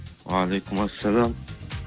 уағалейкумассалям